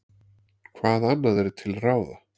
Hvað annað er til ráða?